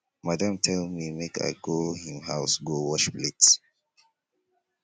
madam tell me make i go im house go wash plate